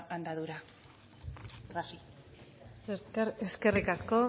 andadura eskerrik asko